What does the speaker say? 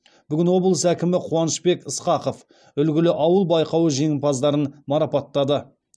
бүгін облыс әкімі қуанышбек ысқақов үлгілі ауыл байқауы жеңімпаздарын марапаттады